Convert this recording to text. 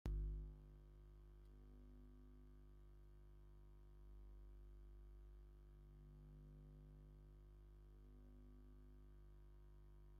ኣብ ሹቅ ዝተደርደሩ ዝተፈላለዩ ዝተዓሸጉ በዝሒ ዘለዎም ናይ ምግቢ ዕይነታት ኣለዉ ። ዋጋ እና ሹም ዝርዝሮም እንታይ እንታይ እዮም ?